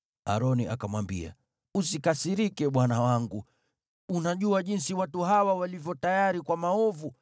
Aroni akamwambia, “Usikasirike bwana wangu. Unajua jinsi watu hawa walivyo tayari kwa maovu.